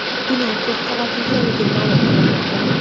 Bino to‘rt qavatli ekanligi ma’lum qilinmoqda.